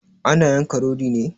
Ana yanka rodi ne?